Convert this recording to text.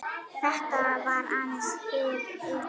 Þetta var aðeins hið ytra.